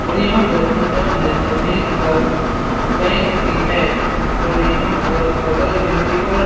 और यहाँ पर पंजाब नेशनल बैंक का बैंक भी है और यहाँ पर बगल में भी और--